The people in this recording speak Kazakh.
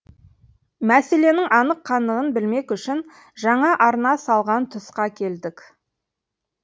мәселенің анық қанығын білмек үшін жаңа арна салған тұсқа келдік